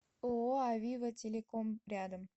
ооо авива телеком рядом